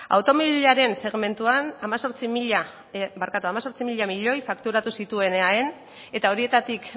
automobilaren segmentuan hemezortzi mila milioi fakturatu zituen eaen eta horietatik